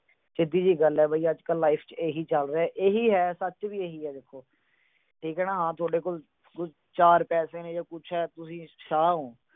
ਸਿੱਧੀ ਜੀ ਗੱਲ ਆ। life ਚ ਅੱਜ-ਕੱਲ੍ਹ ਇਹੀ ਚੱਲ ਰਿਹਾ। ਇਹੀ ਹੈ ਸੱਚ, ਸੱਚ ਵੀ ਇਹੀ ਹੈ ਦੇਖੋ। ਠੀਕ ਹੈ ਨਾ, ਹਾਂ ਥੋਡੇ ਕੋਲ ਚਾਰ ਪੈਸੇ ਨੇ। ਤੁਸੀਂ ਸ਼ਾਹ ਹੋ।